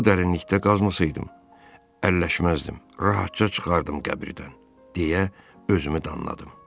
Bu dərinlikdə qazmasaydım, əlləşməzdim, rahatca çıxardım qəbirdən, deyə özümü danladım.